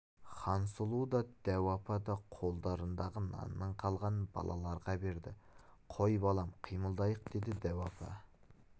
хансұлу да дәу апа да қолдарындағы нанның қалғанын балаларға берді қой балам қимылдайық деді дәу апа